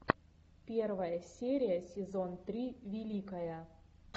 первая серия сезон три великая